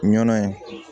Ɲɔnɔ ye